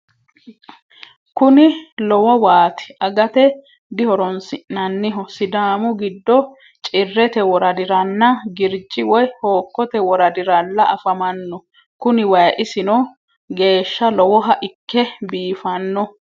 kuni lowo waati agate dihoroonsi'nannihu sidaami giddo cirrete woradiranna girji woy hookkote woradiralla afamano kuni wayi isino geeshsha lowoha ikke biifanno